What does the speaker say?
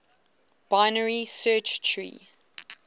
binary search tree